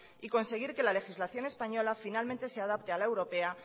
y conseguir que la legislación española finalmente se adapte a la europea